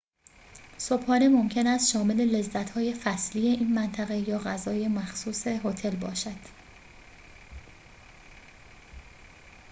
صبحانه ممکن است شامل لذت‌های فصلی این منطقه یا غذای مخصوص هتل باشد